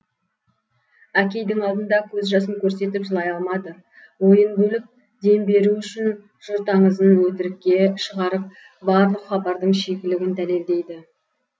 әкейдің алдында көз жасын көрсетіп жылай алмады ойын бөліп дем беру үшін жұрт аңызын өтірікке шығарып барлық хабардың шикілігін дәлелдейді